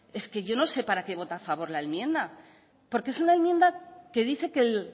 yo no sé para qué vota a favor la enmienda porque es una enmienda que dice que el